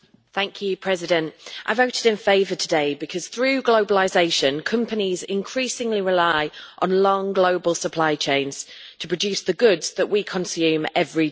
Mr President, I voted in favour today because, through globalisation, companies increasingly rely on long, global supply chains to produce the goods that we consume every day.